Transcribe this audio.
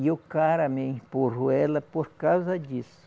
E o cara me empurrou ela por causa disso.